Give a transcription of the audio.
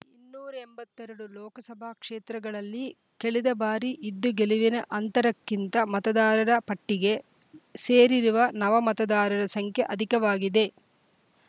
ಇನ್ನೂರ ಎಂಬತ್ತೆ ರಡು ಲೋಕಸಭಾ ಕ್ಷೇತ್ರಗಳಲ್ಲಿ ಕೆಳೆದ ಬಾರಿ ಇದ್ದ ಗೆಲುವಿನ ಅಂತರಕ್ಕಿಂತ ಮತದಾರರ ಪಟ್ಟಿಗೆ ಸೇರಿರುವ ನವಮತದಾರರ ಸಂಖ್ಯೆ ಅಧಿಕವಾಗಿದೆ